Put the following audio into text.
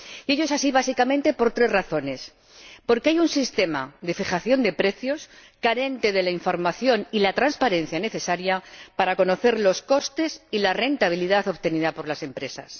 Ello es así básicamente por tres razones porque hay un sistema de fijación de precios carente de la información y la transparencia necesarias para conocer los costes y la rentabilidad obtenida por las empresas